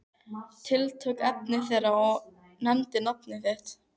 Tiltók efni þeirra og nefndi nafn þitt.